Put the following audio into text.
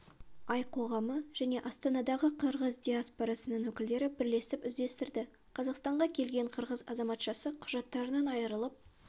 ай қоғамы және астанадағы қырғыз диаспорасының өкілдері бірлесіп іздестірді қазақстанға келген қырғыз азаматшасы құжаттарынан айырылып